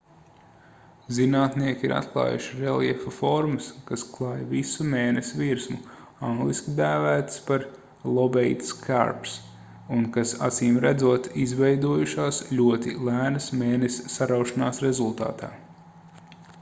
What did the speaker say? zinātnieki ir atklājuši reljefa formas kas klāj visu mēness virsmu angliski dēvētas par lobate scarps” un kas acīmredzot izveidojušās ļoti lēnas mēness saraušanās rezultātā